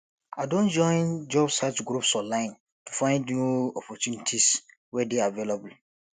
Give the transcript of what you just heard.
i don join job search groups online to find new opportunities wey dey available